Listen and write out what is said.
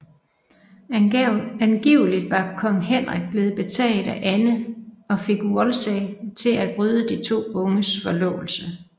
Angivelig var kong Henrik blevet betaget af Anne og fik Wolsey til at bryde de to unges forlovelse